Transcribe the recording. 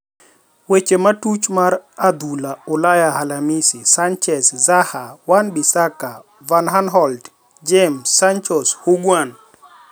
Weche matuch mar adhula Ulaya Alhamisi: Sanchez, Zaha, Wan-Bissaka, Van Aanholt, James, Sancho, Higuain